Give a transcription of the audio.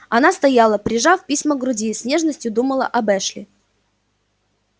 она стояла прижав письма к груди и с нежностью думала об эшли